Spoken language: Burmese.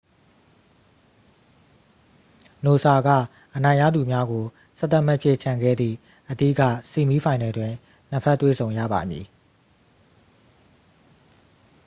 နိုဆာက အနိုင်ရသူများကို 11 မှတ်ဖြင့် ချန်ခဲ့သည့် အဓိက ဆီးမီးဖိုင်နယ်တွင် နှစ် ဖက် တွေ့ဆုံရပါမည်